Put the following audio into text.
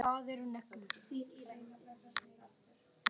Hvað eru neglur?